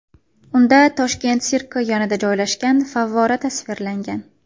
Unda Toshkent sirki yonida joylashgan favvora tasvirlangan.